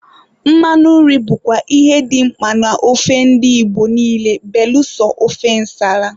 Mmanụ nri bụkwa ihe dị mkpa na ofe ndi Igbo niile belụsọ ofe ǹsàlà.